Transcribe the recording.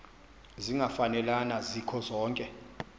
zingafanelana zikho zonke